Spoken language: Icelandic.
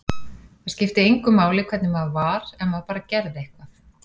Það skipti engu máli hvernig maður var, ef maður bara gerði eitthvað.